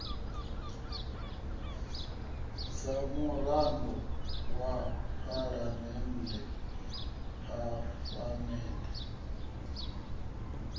sa murado wa phalamende phafamende